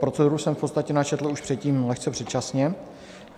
Proceduru jsem v podstatě načetl už předtím, lehce předčasně.